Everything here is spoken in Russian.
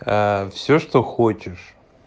всё что хочешь